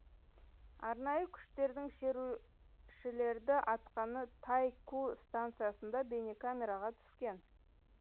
арнайы күштердің шерушілерді атқаны тай ку станциясында бейнекамераға түскен